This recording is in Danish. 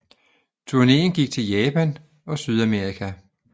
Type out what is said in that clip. Turnéen gik til Japan og Sydamerika